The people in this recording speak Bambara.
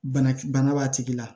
Bana bana b'a tigi la